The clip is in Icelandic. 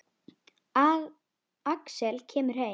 Axel kemur heim.